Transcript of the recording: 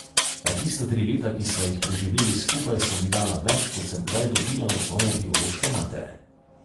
A tista tri leta, ki sva jih preživeli skupaj, so mi dala več, kot sem kdaj dobila od svoje biološke matere.